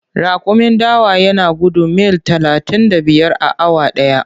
Raƙumin dawa yana gudun mil talatin da biyar a awa ɗaya.